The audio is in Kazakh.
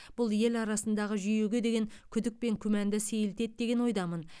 бұл ел арасындағы жүйеге деген күдік пен күмәнді сейілтеді деген ойдамын